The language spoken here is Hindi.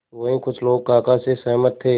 वहीं कुछ लोग काका से सहमत थे